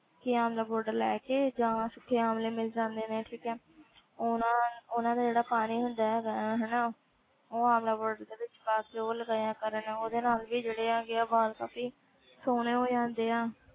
ਕਿ ਆਮਲਾ powder ਲੈ ਕੇ ਜਾਂ ਸੁੱਕੇ ਆਮਲੇ ਮਿਲ ਜਾਂਦੇ ਨੇ ਠੀਕ ਹੈ ਉਹਨਾਂ ਉਹਨਾਂ ਦਾ ਜਿਹੜਾ ਪਾਣੀ ਹੁੰਦਾ ਹੈਗਾ ਹੈ ਹਨਾ, ਉਹ ਆਮਲਾ powder ਦੇ ਵਿੱਚ ਪਾ ਕੇ ਉਹ ਲਗਾਇਆ ਕਰਨ ਉਹਦੇ ਨਾਲ ਵੀ ਜਿਹੜੇ ਹੈਗੇ ਆ ਵਾਲ ਕਾਫ਼ੀ ਸੋਹਣੇ ਹੋ ਜਾਂਦੇ ਆ,